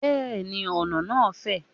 Bẹ́ẹ̀ni, ọ̀nà náà fè.